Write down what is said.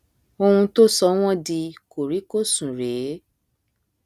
ohun tó sọ wọn di kòríkòsùn rèé